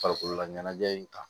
Farikololaɲɛnajɛ in ta